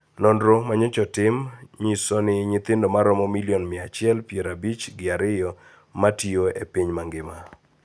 Nonro manyocha otim nyiso ni nyithindo maromo milion mia achiel pier abich gi ariyo matiyo e piny mangima.